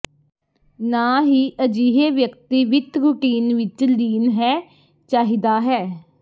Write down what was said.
ਨਾ ਹੀ ਅਜਿਹੇ ਵਿਅਕਤੀ ਵਿੱਤ ਰੁਟੀਨ ਵਿੱਚ ਲੀਨ ਹੈ ਚਾਹੀਦਾ ਹੈ